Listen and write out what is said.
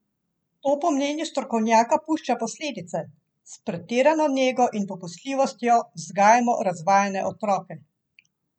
To po mnenju strokovnjaka pušča posledice: "S pretirano nego in popustljivostjo vzgajamo razvajene otroke.